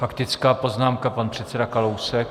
Faktická poznámka, pan předseda Kalousek.